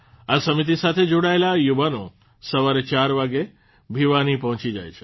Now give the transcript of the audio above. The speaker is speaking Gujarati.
આ સમિતિ સાથે જોડાયેલ યુવાનો સવારે ચાર વાગે ભિવાની પહોચીં જાય છે